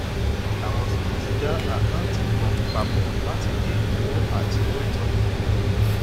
àwọn smith dá àkáǹtì kan pa pọ láti dín ìnáwó àti owó ìtọjú kù